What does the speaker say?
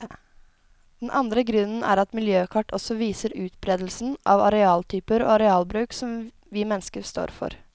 Den andre grunnen er at miljøkart også viser utberedelsen av arealtyper og arealbruk som vi mennesker står for.